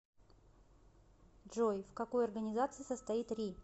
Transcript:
джой в какой организации состоит ри